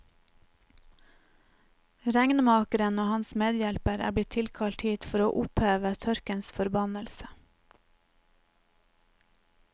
Regnmakeren og hans medhjelper er blitt tilkalt hit for å oppheve tørkens forbannelse.